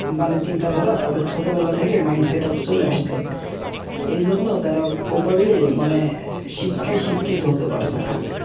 মানে চিন্তা ধারার তাদের ছোটবেলা থেকেই চলে আসছে এই জন্য তারা মানে শিক্ষায় শিক্ষিত হতে পারছেনা